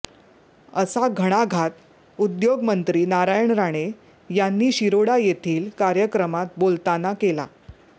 असा घणाघात उद्योगमंत्री नारायण राणे यांनी शिरोडा येथील कार्यक्रमात बोलताना केला